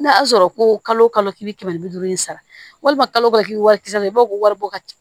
N'a y'a sɔrɔ ko kalo kɛmɛ bi duuru in sara walima kalo kisɛ naani i b'a fɔ ko waribɔ ka di